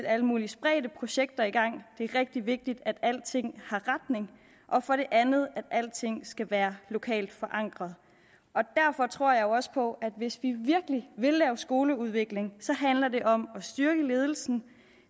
alle mulige spredte projekter i gang det er rigtig vigtigt at alting har en retning og for det andet at alting skal være lokalt forankret derfor tror jeg også på at hvis vi virkelig vil lave skoleudvikling så handler det om at styrke ledelsen